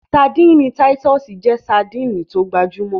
Ṣadínnì táyítọ́sì jẹ́ ṣadínnì tó gbajúmọ̀